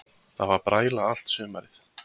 Það var bræla allt sumarið.